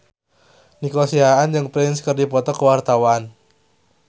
Nico Siahaan jeung Prince keur dipoto ku wartawan